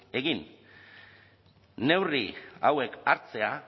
egin neurri hauek hartzea